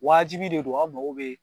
Waajibi de don an mago be